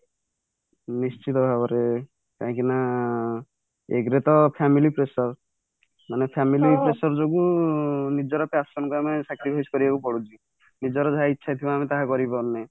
ନିଶ୍ଚିତ ଭାବରେ କାହିଁ କି ନା ଏକରେ ତ family pressure ମାନେ family pressure ଯୋଗୁ ନିଜର passion ଆମେ sacrifice କରିବା କୁ ପଡୁଛି ନିଜର ଯାହା ଇଚ୍ଛା ଥିବ ଆମେ ତାହା କରି ପରୁନେ